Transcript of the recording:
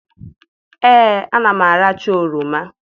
Ee, ana m aracha oroma.